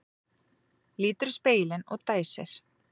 Lítur í spegilinn og dæsir.